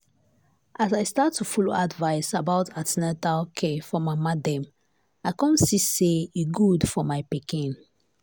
as i start to follow advice about an ten atal care for mama dem i come see say e good for my pikin.